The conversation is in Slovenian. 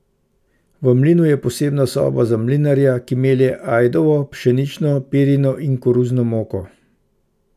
V mlinu je posebna soba za mlinarja, ki melje ajdovo, pšenično, pirino in koruzno moko.